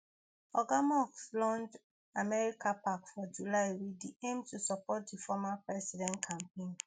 oga musk launch americapac for july wit di aim to support di former president campaign